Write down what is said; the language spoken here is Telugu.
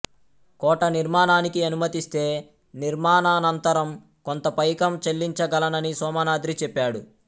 కోట నిర్మాణానికి అనుమతిస్తే నిర్మాణానంతరం కొంత పైకం చెల్లించగలనని సోమనాద్రి చెప్పాడు